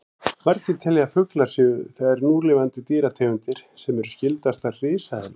Margir telja að fuglar séu þær núlifandi dýrategundir sem séu skyldastar risaeðlum.